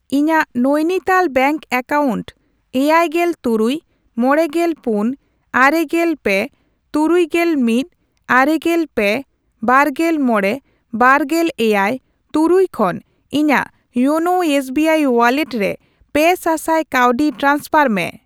ᱤᱧᱟᱜ ᱱᱚᱭᱱᱤᱛᱟᱞ ᱵᱮᱝᱠ ᱮᱠᱟᱣᱩᱱᱴ ᱮᱭᱟᱭᱜᱮᱞ ᱛᱩᱨᱩᱭ, ᱢᱚᱲᱮᱜᱮᱞ ᱯᱩᱱ, ᱟᱨᱮᱜᱮᱞ ᱯᱮ, ᱛᱩᱨᱩᱭᱜᱮᱞ ᱢᱤᱫ, ᱟᱨᱮᱜᱮᱞ ᱯᱮ, ᱵᱟᱨᱜᱮᱞ ᱢᱚᱲᱮ, ᱵᱟᱨᱜᱮᱞ ᱮᱭᱟᱭ, ᱛᱩᱨᱩᱭ ᱠᱷᱚᱱ ᱤᱧᱟᱜ ᱭᱳᱱᱳ ᱮᱥᱵᱤᱟᱭ ᱳᱣᱟᱞᱮᱴ ᱨᱮ ᱯᱮ ᱥᱟᱥᱟᱭ ᱠᱟᱹᱣᱰᱤ ᱴᱨᱟᱱᱥᱯᱷᱟᱨ ᱢᱮ ᱾